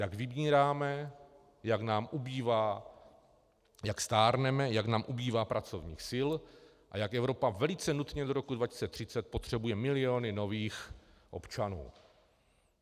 Jak vymíráme, jak nás ubývá, jak stárneme, jak nám ubývá pracovních sil a jak Evropa velice nutně do roku 2030 potřebuje miliony nových občanů.